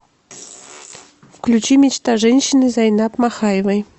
включи мечта женщины зайнаб махаевой